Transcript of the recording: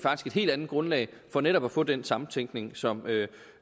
helt andet grundlag for netop at få den samtænkning som